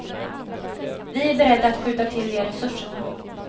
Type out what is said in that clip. Vi är beredda att skjuta till de resurserna.